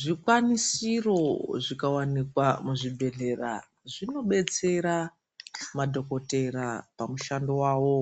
Zvikwanisiro zvikawanikwa muzvibhedhlera zvinobetsera madhokotera pamushando wawo,